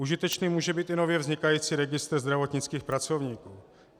Užitečný může být i nově vznikající registr zdravotnických pracovníků.